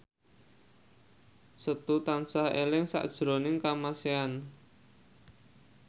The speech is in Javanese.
Setu tansah eling sakjroning Kamasean